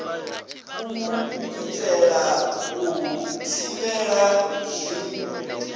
u itela u thivhela zwi